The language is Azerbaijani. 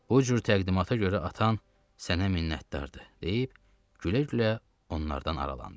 O cür təqdimata görə atan sənə minnətdardır, deyib gülə-gülə onlardan aralandı.